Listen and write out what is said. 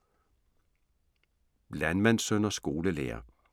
Landmandssøn og skolelærer